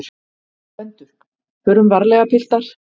GVENDUR: Förum varlega, piltar!